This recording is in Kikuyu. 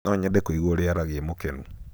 nonyende kũigua ũria aaragia e mũkenu